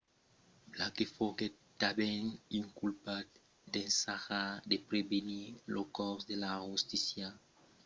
blake foguèt tanben inculpat d’ensajar de pervertir lo cors de la justícia